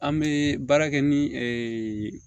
An bɛ baara kɛ ni